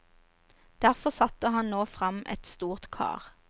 Derfor setter han nå frem et stort kar.